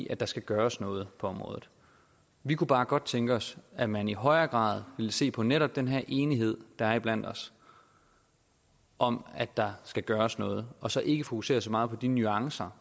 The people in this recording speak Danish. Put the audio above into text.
at der skal gøres noget på området vi kunne bare godt tænke os at man i højere grad ville se på netop den her enighed der er iblandt os om at der skal gøres noget og så ikke fokusere så meget på de nuancer